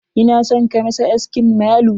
Ina son ka masa askin malu.